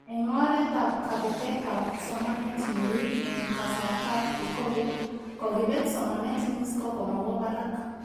Eng oret ak kabetetab somanet neui eng kasartaab pre-COVID, kokibet somanet mean score komawo barak